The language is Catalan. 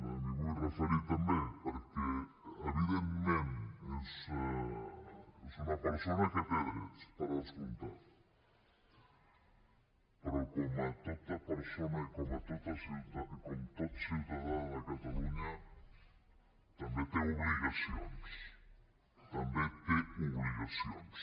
m’hi vull referir també perquè evidentment és una persona que té drets per descomptat però com tota persona i com tot ciutadà de catalunya també té obligacions també té obligacions